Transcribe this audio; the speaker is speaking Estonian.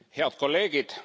Head kolleegid!